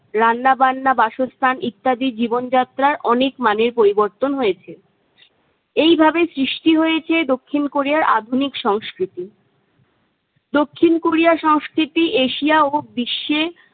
রান্না বান্না, বাসস্থান ইত্যাদি জীবনযাত্রার অনেক মানের পরিবর্তন হয়েছে এইভাবে সৃষ্টি হয়েছে দক্ষিণ কোরিয়ার আধুনিক সংস্কৃতি। দক্ষিণ কোরিয়ার সংস্কৃতি এশিয়া ও বিশ্বে-